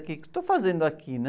O quê que eu estou fazendo aqui, né?